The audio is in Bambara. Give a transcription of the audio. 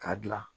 K'a dilan